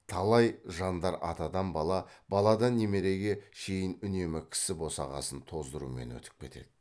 талай жандар атадан бала баладан немереге шейін үнемі кісі босағасын тоздырумен өтіп кетеді